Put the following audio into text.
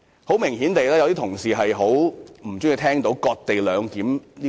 有些同事顯然很不喜歡聽到"割地兩檢"一詞。